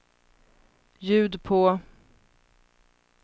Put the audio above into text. ljud på